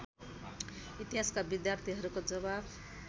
इतिहासका विद्यार्थीहरूको जवाफ